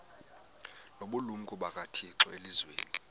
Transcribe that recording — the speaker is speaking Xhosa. nobulumko bukathixo elizwini